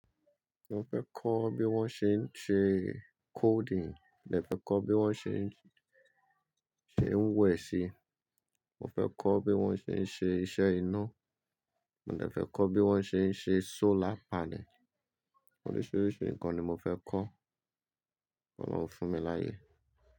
Mo fẹ́ kọ́ bí wọ́n ṣe ń ṣe coding, mo lè fẹ́ kọ́ bí wọ́n ṣe ń ṣe wẹ̀ṣẹ̀, mo fẹ́ kọ́ bí wọ́n ṣe ń ṣe iṣẹ́ iná, mo lè fẹ́ kọ́ bí wọ́n ṣe ń ṣe solar panel, oríṣiríṣi nǹkan ni mo fẹ́ kọ́, Ọlọ́run fún mi láyé.